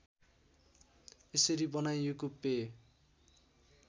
यसरी बनाइएको पेय